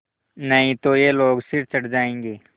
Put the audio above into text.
नहीं तो ये लोग सिर चढ़ जाऐंगे